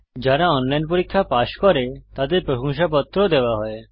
যারা অনলাইন পরীক্ষা পাস করে তাদের প্রশংসাপত্র সার্টিফিকেট ও দেওয়া হয়